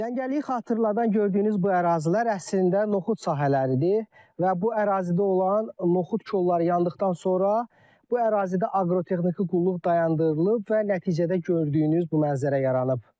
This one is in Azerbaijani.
Cəngəliyi xatırladan gördüyünüz bu ərazilər əslində noxud sahələridir və bu ərazidə olan noxud kolları yandıqdan sonra bu ərazidə aqrotexniki qulluq dayandırılıb və nəticədə gördüyünüz bu mənzərə yaranıb.